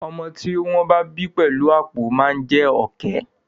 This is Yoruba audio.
Ọmọ tí ó wọ́n bí pẹ̀lú àpọ̀ máa jé Ọ̀kẹ́.